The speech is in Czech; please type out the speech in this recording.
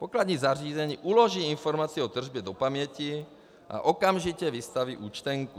Pokladní zařízení uloží informaci o tržbě do paměti a okamžitě vystaví účtenku.